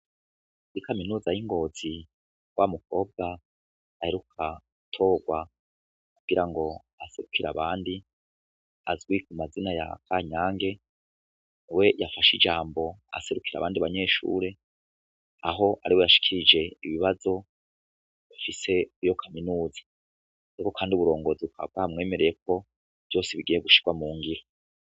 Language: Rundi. I kaminuza y'ingozi wa mukobwa aheruka torwa kugira ngo aserukira abandi azwi ku mazina ya kanyange we yafashe ijambo aserukira abandi banyeshure aho ari we yashikije ibibazo afise iyo kaminuza ndeko, kandi uburongozi bukabwa mwemereye ko vyose bigire gushirwa mu ngiro.